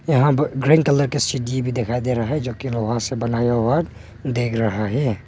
यहां पर green colour का सीढ़ी भी दिखायी दे रहा है जो कि लोहे से बना हुआ देख रहा है।